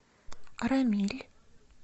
арамиль